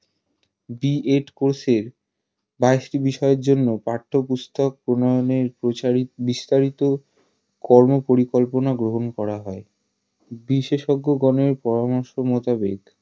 BEd course এর বাইশটি বিষয়ের জন্য পাঠ্যপুস্তক প্রণয়নের প্রসারিত বিস্তারিত কর্ম পরিকল্পনা গ্রহন করা হয় বিশেষজ্ঞগনের পরামর্শ মোতাবেক